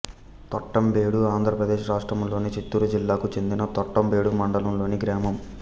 తొట్టంబేడు ఆంధ్ర ప్రదేశ్ రాష్ట్రములోని చిత్తూరు జిల్లాకు చెందిన తొట్టంబేడు మండలం లోని గ్రామం